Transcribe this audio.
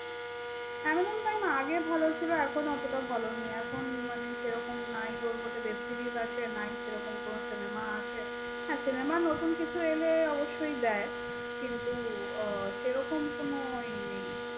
amazon prime আগে ভালো ছিল এখন এত টা ভালো নেই এখন আর সেই রকম নাই ওর মধ্যে web series আছে নাই কোনো cinema আছে নাই cinema নতুন কিছু এলে অবশ্যই দেয় কিন্তু সেরকম কোনোই নেই ।